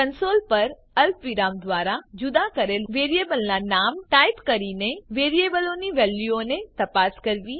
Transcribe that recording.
console પર અલ્પવિરામ દ્વારા જુદા કરેલ વેરીએબલનાં નામ ટાઈપ કરીને વેરીએબલોની વેલ્યુઓને તપાસ કરવી